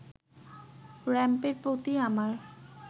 র‌্যাম্পের প্রতি আমার